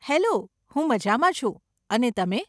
Hello, હું મઝામાં છું, અને તમે?